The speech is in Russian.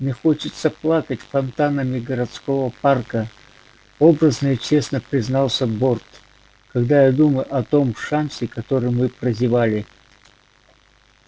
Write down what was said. мне хочется плакать фонтанами городского парка образно и честно признался борт когда я думаю о том шансе который мы прозевали